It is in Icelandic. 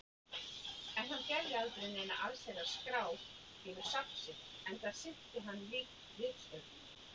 En hann gerði aldrei neina allsherjar-skrá yfir safn sitt, enda sinnti hann lítt ritstörfum.